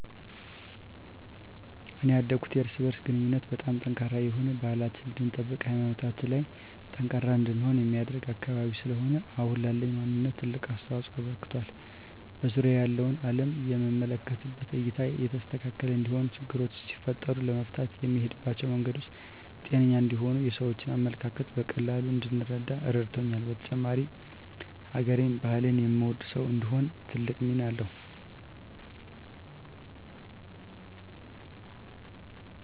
እኔ ያደኩት የእርስ በእርስ ግንኙነቱ በጣም ጠንካራ የሆነ፣ ባህላችንን እንድንጠብቅ ሀይማኖታችን ላይ ጠንካራ እንድንሆን የሚያደርግ አካባቢ ስለሆነ አሁን ላለኝ ማንነት ትልቅ አስተዋፅኦ አበርክቷል። በዙሪያየ ያለውን አለም የምመለከትበት እይታ የተስተካከለ እንዲሆን፣ ችግሮች ሲፈጠሩ ለመፍታት የምሄድባቸው መንገዶች ጤነኛ እንዲሆኑ፣ የሰዎችን አመለካከት በቀላሉ እንድረዳ ረድቶኛል። በተጨማሪም ሀገሬን፣ ባህሌን የምወድ ሰው እንድሆን ትልቅ ሚና አለዉ።